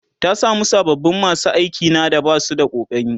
ta samu sababin masu aiki na da Basu da ƙokari